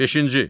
Beşinci.